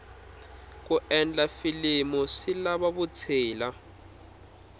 ku endla filimu swi lava vutshila